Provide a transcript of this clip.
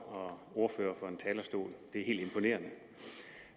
og ordfører fra en talerstol det er helt imponerende